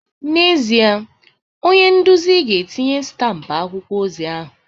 N'ezie, onye nduzi ga-etinye stampụ akwụkwọ ozi ahụ